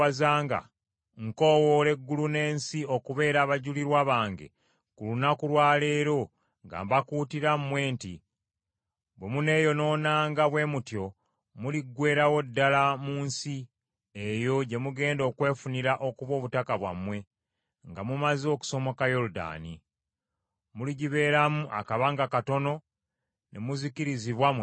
nkoowoola eggulu n’ensi okubeera abajulirwa bange ku lunaku lwa leero nga mbakuutira mmwe nti, Bwe muneeyonoonanga bwe mutyo, muliggweerawo ddala mu nsi eyo gye mugenda okwefunira okuba obutaka bwammwe, nga mumaze okusomoka Yoludaani. Muligibeeramu akabanga katono ne muzikirizibwa mwenna.